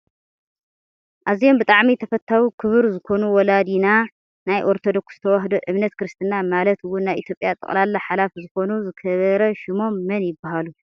ኣዝዮም ብጣዕሚ ተፈታዊ ክቡር ዝኮኑ ወላዲና ናይ ኦርቶዶክስ ተዋህዶ እምነት ክርስትና ማለት እውን ናይ ኢትዮጵያ ጠቅላላ ሓላፊ ዝኮኑ ዝከበረ ሽሞም መን ይብሃሉ?